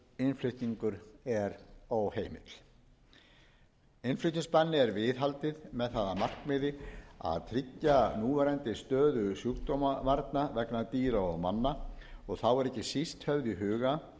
innflutningur er óheimill innflutningsbanni er viðhaldið með það að markmiði að tryggja núverandi stöðu sjúkdómavarna vegna dýra og manna og þá er ekki síst höfð í huga